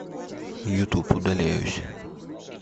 ютуб удаляюсь